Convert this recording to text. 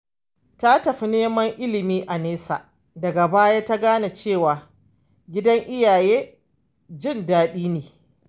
Ta tafi neman ilimi a nesa, daga baya ta gane cewa gidan iyaye jin daɗi ne.